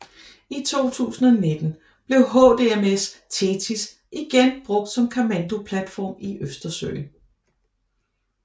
I 2019 blev HDMS THETIS igen brugt som kommandoplatform i Østersøen